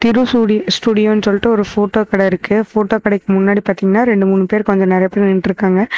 திரு சூடி சூடியோனு ஒரு போட்டோ கட இருக்கு போட்டோ கடைக்கு முன்னாடி பாத்திங்கன்னா இரண்டு மூனு கொஞ்ஜோ நெரிய பெர் நின்னுட்டுருக்காங்க.